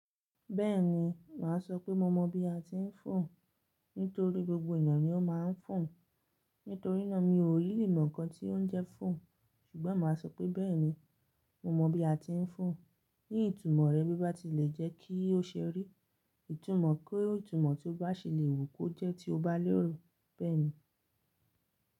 Bẹ́ẹ̀ni, mà á sọ pé mo mọ̀ bí a ti ń fò nítorí gbogbo ènìyàn ni ó máa ń fò. Nítorínà mi ò rí limọ̀ kan tí ó ń jẹ fò, ṣùgbọ́n mà á sọ pé bẹ́ẹ̀ni, mo mọ̀ bí a ti ń fò. Ní ìtumọ̀ rẹ bí bá ti le jẹ́ kí o ṣe rí ìtumọ̀ kó ìtumọ̀ tí o bá ṣe le wò kó jẹ́ tí o bá lérò. Bẹ́ẹ̀ni.